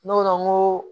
N'o